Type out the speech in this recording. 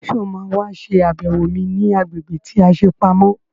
Sọ má wá ṣe àbẹ̀wò mi ní agbègbè tí a ṣe pamọ́?